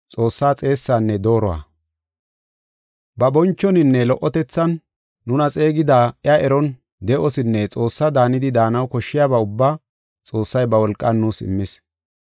Ba bonchoninne lo77otethan nuna xeegida iya eron de7osinne Xoossaa daanidi daanaw koshshiyaba ubbaa Xoossay ba wolqan nuus immis.